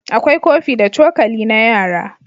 akwai kofi da cokali na yara